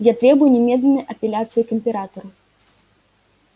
я требую немедленной апелляции к императору